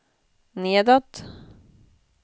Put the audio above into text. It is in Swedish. nedåt